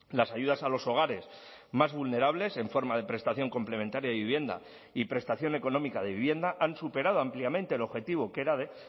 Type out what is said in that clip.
las ayudas a los hogares más vulnerables en forma de prestación complementaria de vivienda y prestación económica de vivienda han superado ampliamente el objetivo que era de